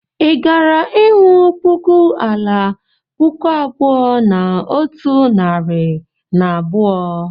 Ị gara ịhụ puku ala puku abụọ na otu narị na abụọ?